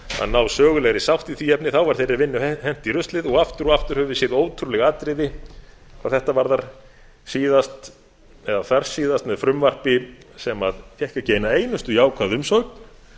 ná sögulegri sátt í því efni þá var þeirri vinnu hent í ruslið og aftur og aftur höfum við séð ótrúleg atriði hvað þetta varðar síðast eða þarsíðast með frumvarpi sem fékk ekki eina einustu jákvæða umsögn